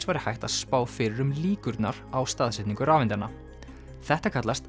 væri hægt að spá fyrir um líkurnar á staðsetningu rafeindanna þetta kallast